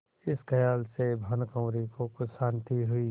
इस खयाल से भानुकुँवरि को कुछ शान्ति हुई